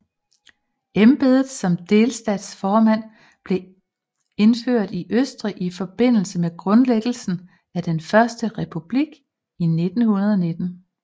Embedet som delstatsformand blev indført i Østrig i forbindelse med grundlæggelsen af den Første Republik i 1919